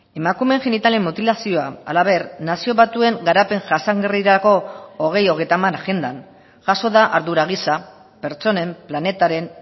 emakumeen genitalen mutilazioa halaber nazio batuen garapen jasangarrirako bi mila hogeita hamar agendan jaso da ardura gisa pertsonen planetaren